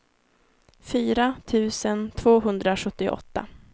fyra tusen tvåhundrasjuttioåtta